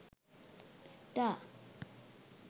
star